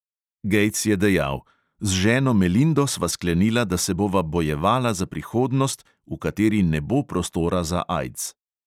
Gejts je dejal: "z ženo melindo sva sklenila, da se bova bojevala za prihodnost, v kateri ne bo prostora za aids."